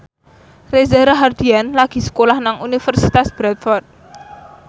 Reza Rahardian lagi sekolah nang Universitas Bradford